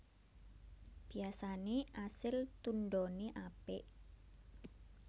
Biyasane asil tundhone apik